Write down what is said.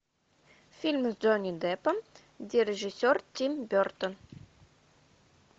фильмы с джонни деппом где режиссер тим бертон